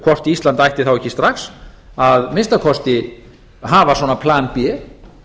hvort ísland ætti þá ekki strax að minnsta kosti að hafa svona plan b